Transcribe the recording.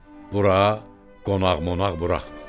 Bura qonaq-monaq buraxma.